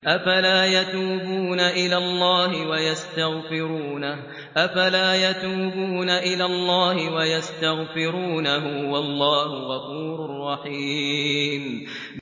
أَفَلَا يَتُوبُونَ إِلَى اللَّهِ وَيَسْتَغْفِرُونَهُ ۚ وَاللَّهُ غَفُورٌ رَّحِيمٌ